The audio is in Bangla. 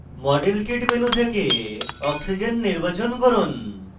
model kit menu থেকে oxygen o নির্বাচন করুন